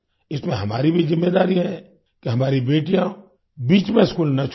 इसमें हमारी भी ज़िम्मेदारी है कि हमारी बेटियाँ बीच में स्कूल न छोड़ दें